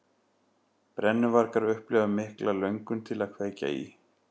Brennuvargar upplifa mikla löngun til að kveikja í.